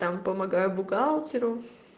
там помогаю бухгалтеру